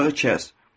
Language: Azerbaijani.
Bu budağı kəs.